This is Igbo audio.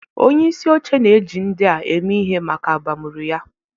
Onyeisi oche na-eji ndị a eme ihe maka abamuru ya.